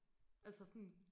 Altså sådan